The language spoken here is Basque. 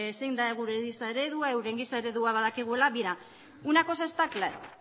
zein da gure giza eredua euren giza eredua badakigula mira una cosa está clara